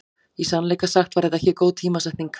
Í sannleika sagt var þetta ekki góð tímasetning.